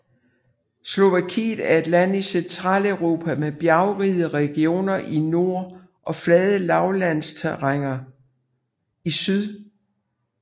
Slovakiet er et land i Centraleuropa med bjergrige regioner i nord og fladt lavlandsterræn i syd